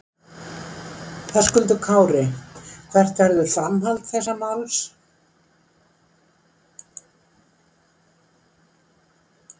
Höskuldur Kári: Hvert verður framhald þessa máls?